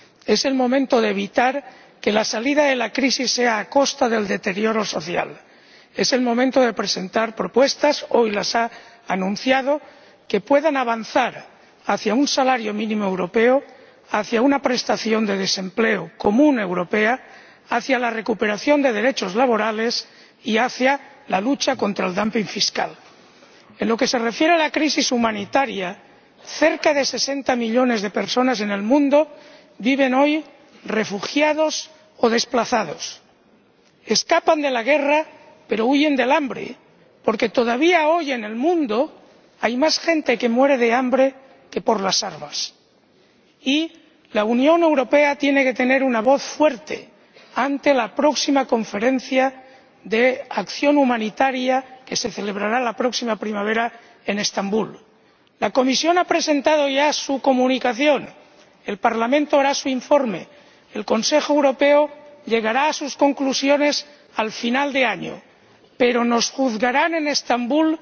es el momento de evitar que la salida de la crisis sea a costa del deterioro social es el momento de presentar propuestas ―hoy las ha anunciado― que puedan avanzar hacia un salario mínimo europeo, hacia una prestación de desempleo común europea, hacia la recuperación de derechos laborales y hacia la lucha contra el fiscal. En lo que se refiere a la crisis humanitaria, cerca de 60 millones de personas en el mundo viven hoy refugiadas o desplazadas. Escapan de la guerra, pero huyen del hambre, porque todavía hoy en el mundo hay más gente que muere de hambre que por las armas. Y la Unión Europea tiene que tener una voz fuerte ante la próxima conferencia de acción humanitaria que se celebrará la próxima primavera en Estambul. La Comisión ha presentado ya su comunicación, el Parlamento hará su informe, el Consejo Europeo llegará a sus conclusiones al final de año, pero nos juzgarán en Estambul,